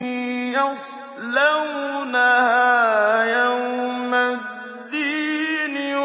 يَصْلَوْنَهَا يَوْمَ الدِّينِ